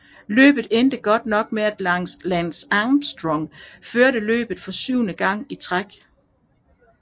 Løbet endte godt nok med at Lance Armstrong førte løbet for syvende gang i træk